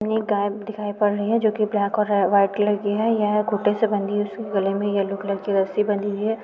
हमें एक गाय दिखाई पड़ रही है जो की ब्लैक और आ व्हाइट कलर की है यह खुटे से बनी उसके गले में यलो कलर की रस्सी बंधी हुई है।